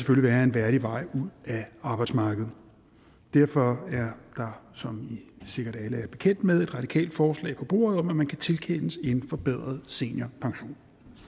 være en værdig vej ud af arbejdsmarkedet derfor er der som i sikkert alle er bekendt med et radikalt forslag på bordet om at man kan tilkendes en forbedret seniorpension